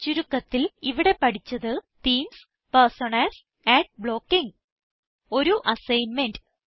ചുരുക്കത്തിൽ ഇവിടെ പഠിച്ചത് തീംസ് പെർസോണാസ് അഡ് ബ്ലോക്കിങ് ഒരു അസൈൻമെന്റ്